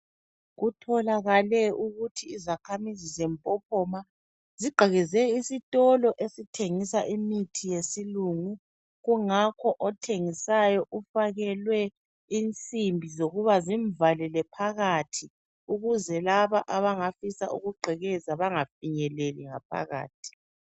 Kutholakale ukuthi izakhamuzi zeMpopoma zigqekeze esitolo esithengisa imithi yesilungu kungakho othengisayo ufakelwe insimbi zokuba zimvalele phakathi ukuze labo abangafisa ukugqekeza bangafinyeleli ngaphakathi.